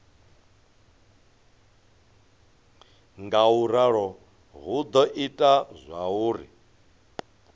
ngauralo hu do ita zwauri